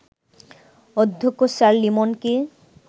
অধ্যক্ষ স্যার লিমনকে